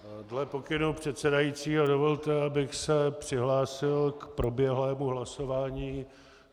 Dle pokynu předsedajícího dovolte, abych se přihlásil k proběhlému hlasování.